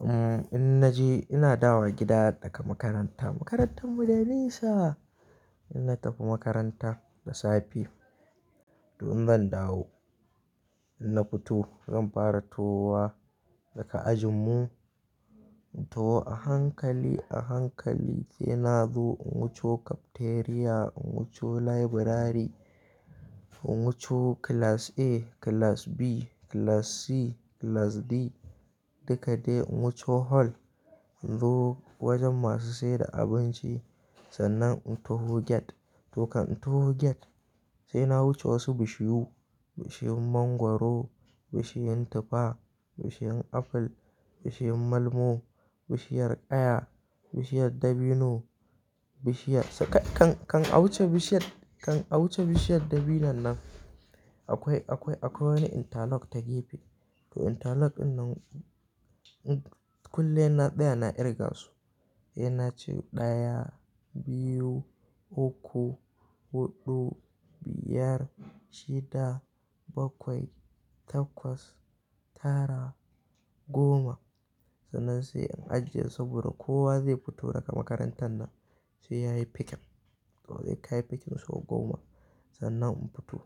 Umm, in naje ina dawo gida daga makaranta. Makarantar mu da nisa. In na tafi makaranta da safe to in zan dawo. In na fito zan fara tawowa daga ajin mu. In tawo a hankali, a hankali sai na zo in wuco cafeteria, in wuco library, in wuco class A, class B, class C, class D duka dai in wuco hall. In zo wajen masu siyar da abinci sannan in taho gate. To kan in taho gate sai na wuce wasu bishiyu, bishiyun mangwaro, bishiyun tufa, bishiyun aful, bishiyun malmo, bishiyar ƙaya, bishiyar dabino, bishiyar-- sai kan, kan a wuce bishiyar, kan a wuce bishiyar dabinon nan akwai, akwai, akwai wani interlock ta gefe. To interlock dinnan, kullum sai na tsaya na kirga su. Sai na ce ɗaya, biyu, uku, huɗu, biyar, shida, bakwai, takwas, tara, goma. Sannan sai in ajiye saboda kowa zai fito daga makarantar nan sai yayi picking. To sai kayi picking sau goma sannan in fito.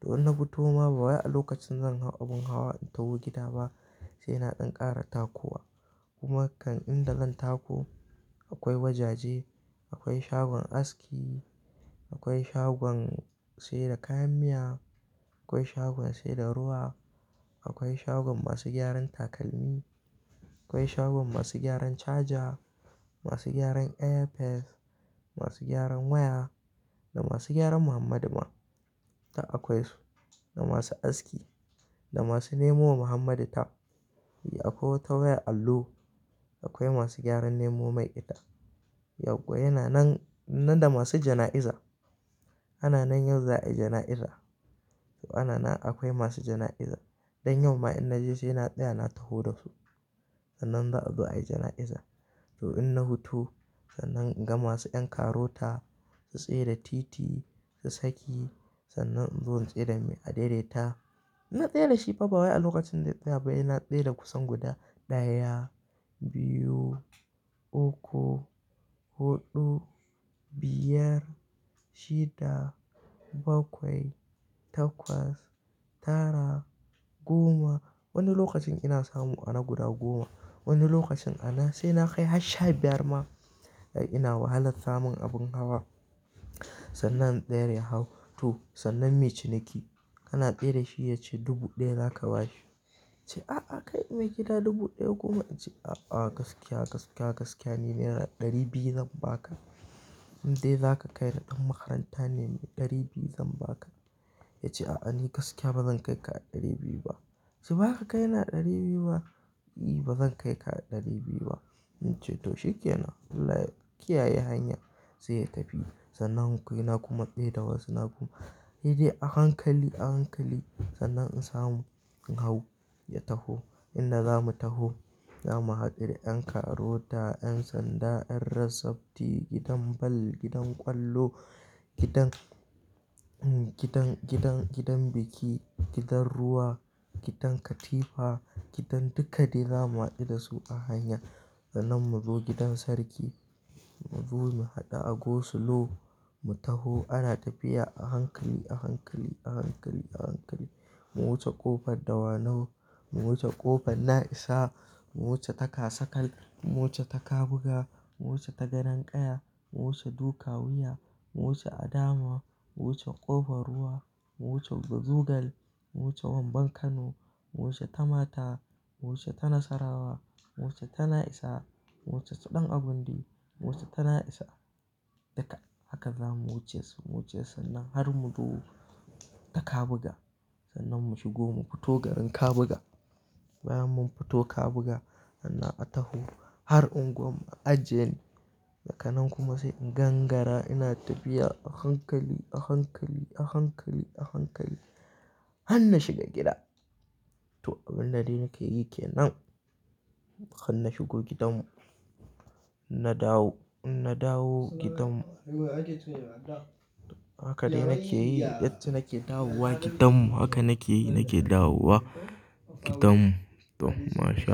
To in na fito ma bawai a lokacin zan hau abun hawa in taho gida ba sai na ɗan ƙara takowa. Kuma kan in da zan tako akwai wajaje, akwai shagon aski, akwai shagon sai da kayan miya, akwai shagon sai da ruwa, akwai shagon masu gyaran takalmi, akwai shagon masu gyaran charger, masu gyaran airpiece, masu gyaran waya da masu gyaran Muhammadu ma duk akwai su. Da masu aski, da masu nemo wa Muhammadu ta Eh akwai wata wayar allo, akwai masu gyaran nemo mai ita. Yaggwa yana nan, nan da masu jana'iza. Ana nan yau za'a yi jana'iza. To ana nan akwai masu jana'iza. Don yau ma in naje sai na tsaya na taho da su. Sannan za'a zo a yi jana'iza. To in na wuto sannan in ga masu ƴan karota su tsaida titi su saki sannan in zo in tsai da mai adai-dai ta. In na tsaida shi ba bawai a lokacin zai tsaya ba sai na tsaida kusan guda ɗaya, biyu, u uku, huɗu, biyar, shida, bakwai, takwas, tara, goma. Wani lokacin ina samu ana guda goma. Wani lokacin anan sai na kai har sha biyar ma. Ai ina wahalar samun abun hawa. Sannan in tsayar ya hau, to sannan muyi ciniki kana tsaida shi ya ce dubu ɗaya za ka ba shi. In ce, "A, a kai me gida dubu ɗaya kuma." In ce, "A, a gaskiya, gaskiya, gaskiya ni naira ɗari biyu zan ba ka. In dai za ka kai ni ɗan makaranta ne ni ɗari biyu zan ba ka." Ya ce, "A, a ni gaskiya ba zan kai ka a ɗari biyu ba." "Toh baza ka kai ni a ɗari biyu ba?" "I, ba zan kai ka a ɗari biyu ba." In ce to shikenan. "Allah ya kiyaye hanya." Sai ya tafi. Sannan ku sai na kuma tsaida wasu na kuma. Sai dai a hankali, a hankali sannan in samu in hau ya taho. Inda zamu taho zamu hadu da ƴan karota, ƴan sanda, ƴan road safety, gidan ball, gidan ƙwallo, gidan, gidan, gidan, gidan biki, gidan ruwa, gidan katifa, gidan duka dai za mu hadu da su a hanya. Sannan mu zo gidan sarki, mu zo mu haɗu a Go Slow mu taho. Ana tafiya a hankali, a hankali, a hankali, a hankali. Mu wuce ƙofar Dawanau, mu wuce ƙofar Na'isa, mu wuce ta kasakal, mu wuce ta kabuga, mu wuce ta gadon ƙaya, mu wuce Dukawiya, mu wuce Adama, mu wuce ƙofar ruwa, mu wuce Mazugal, mu wuce Wamban Kano, mu wuce ta mata, mu wuce ta nasarawa, mu wuce ta na'isa, mu wuce su ɗan agundi, mu wuce ta na'isa, duka. Haka za mu wuce su, mu wuce sannan har mu zo ta kabuga. Sannan mu shigo mu fito garin Kabuga. Bayan mun fito Kabuga sannan a taho har unguwar mu a ajiye ni. Daga nan kuma sai in gangara ina tafiya a hankali, a hankali, a hankali, a hankali har na shiga gida. To abinda dai nake yi kenan. Har na shigo gidan mu. Na dawo, in na dawo gidan mu. Haka dai nake yi yacce nake dawowa gidan mu. Haka nake yi nake dawowa gidan mu. To masha.